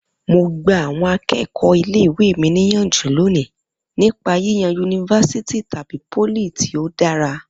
Mo gba àwọn akẹ́kọ̀ọ́ ilé ìwé mi níyànjú lónìí nípa yíyan yunifásítì tàbí pólì tí ó dára